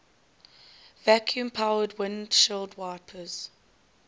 vacuum powered windshield wipers